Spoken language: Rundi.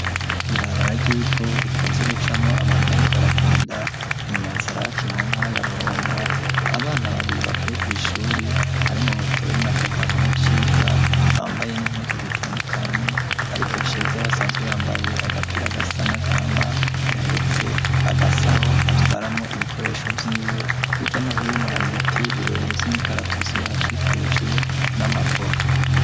Ibabara ryivu rikunze gucamo abantu bariko baragenda inyanza rabak i muntara yaburunga abana babiri bavuye kw'ishuri harimwo butoye nakagabo na ciza bambaye n'impuzu zitandukanye, ariko ciza basanzwe yambaye agapira agasa n'agahama yahetse agasaho atwaramwo ibikoresho vyiwe, hirya no hino hari ibiti birebere vy'imikaratutsi bihakikuje n'amavoka.